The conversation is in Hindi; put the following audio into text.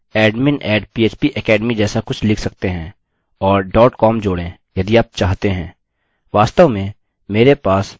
या आप admin @php academy जैसा कुछ लिख सकते हैं और com जोड़ें यदि आप चाहते हैं